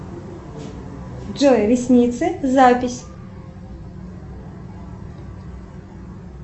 джой ресницы запись